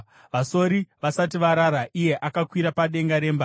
Vasori vasati varara, iye akakwira padenga remba,